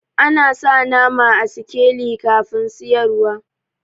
Ana sa nama a sikeli kafin siyarwa.